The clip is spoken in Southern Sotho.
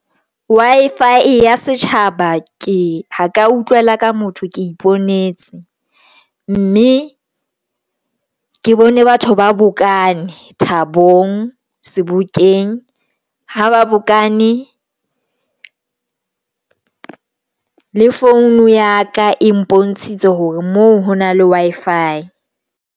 Wi-Fi ya setjhaba ke ha ka utlwela ka motho, ke iponetse mme ke bone batho ba bokane Thabong Sebokeng ha ba bokane le phone ya ka e mpontshitse hore moo ho na le Wi-Fi.